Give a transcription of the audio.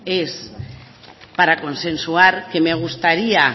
es para consensuar que me gustaría